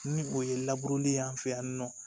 Ni o ye an fɛ yan nɔ